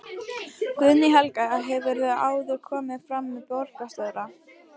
Guðný Helga: Hefurðu áður komið fram með borgarstjóra?